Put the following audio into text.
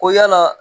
Ko yala